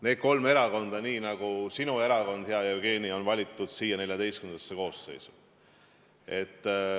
Need kolm erakonda, nii nagu ka sinu erakond, hea Jevgeni, on valitud siia XIV koosseisu.